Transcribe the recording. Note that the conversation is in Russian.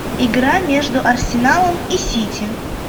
игра между арсеналом и сити